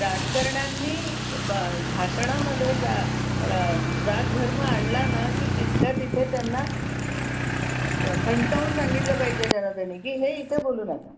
राजकारण्यानी भाषण मध्ये जात धर्म आणला ना की तिथल्या तिथं त्यांना खाणकावुन सांगितलं पाहिजे जनतेनं की हे इथे बोलू नका